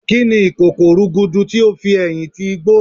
Kíni ìkòkò rúgúdú ti ó fi ẹ̀yìn ti igbó?